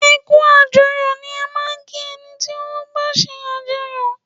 Ẹ kú àjọyọ̀ ni a máa ń kí ẹni tí ó bá ń sàjọyọ̀.